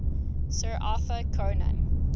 sir arthur conan